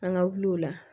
An ka wuli o la